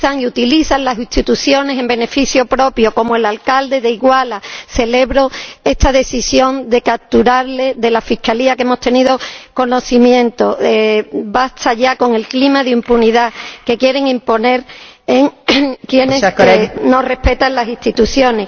utilizan a las instituciones en beneficio propio, como el alcalde de Iguala. Celebro esta decisión de la Fiscalía de capturarles de la que hemos tenido conocimiento basta ya con el clima de impunidad que quieren imponer quienes no respetan las instituciones.